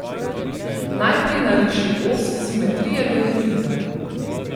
Najprej nariši os simetrije deltoida.